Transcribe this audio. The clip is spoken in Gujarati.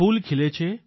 ફૂલ ખીલે છે